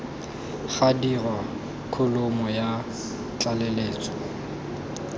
ga dirwa kholomo ya tlaleletso